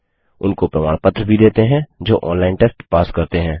उनको प्रमाण पत्र भी देते हैं जो ऑनलाइन टेस्ट पास करते हैं